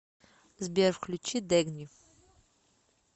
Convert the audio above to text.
сбер включи дэгни